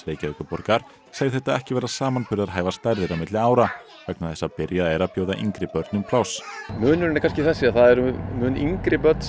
Reykjavíkurborgar segir þetta ekki vera samanburðarhæfar stærðir á milli ára vegna þess að byrjað er að bjóða yngri börnum pláss munurinn er kannski þessi að það eru mun yngri börn